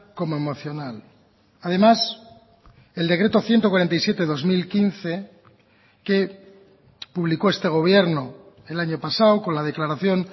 como emocional además el decreto ciento cuarenta y siete barra dos mil quince que publicó este gobierno el año pasado con la declaración